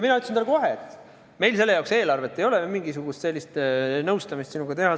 Mina ütlesin talle kohe, et meil selle jaoks eelarvet ei ole, et mingisugust nõustamist teha.